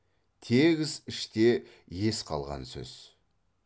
тегіс іште ес қалған сөз